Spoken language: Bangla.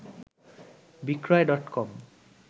বিক্রয় ডটকম